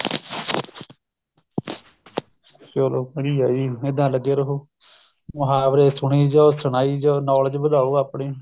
ਚਲੋ ਵਧੀਆ ਜੀ ਇੱਦਾਂ ਲੱਗੇ ਰਹੋ ਮੁਹਾਵਰੇ ਸੁਣੀ ਜੋ ਸੁਣਾਈ ਜੋ knowledge ਵਧਾਓ ਆਪਣੀ